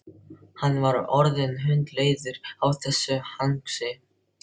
Hann var orðinn hundleiður á þessu hangsi.